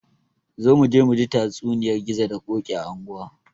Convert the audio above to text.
Zo muje muji tatsuniyar gizo da ƙoki a anguwa